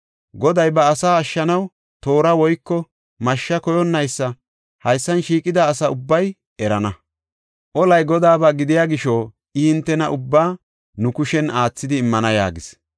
Goday ba asaa ashshanaw toora woyko mashshe koyonnaysa haysan shiiqida asa ubbay erana. Olay Godaaba gidiya gisho, I hintena ubbaa nu kushen aathidi immana” yaagis.